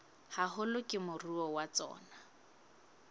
haholo ke moruo wa tsona